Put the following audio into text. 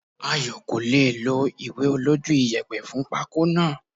Ayo kò lè è lo ìwé olójú iyẹ̀pẹ̀ fún pako náà.